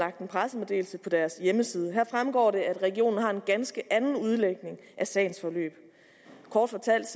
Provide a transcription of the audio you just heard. lagt en pressemeddelelse på deres hjemmeside her fremgår det at regionen har en ganske anden udlægning af sagens forløb kort fortalt